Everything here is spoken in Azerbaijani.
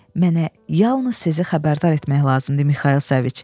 Mənə yalnız sizi xəbərdar etmək lazımdır, Mixayıl Səviç.